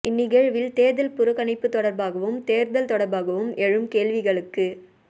இந் நிகழ்வில் தேர்தல் புறக்கணிப்பு தொடர்பாகவும் தேர்தல் தொடர்பாகவும் எழும் கேள்விகளுக்கு